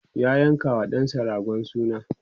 ya yanka wa ɗansa ragon suna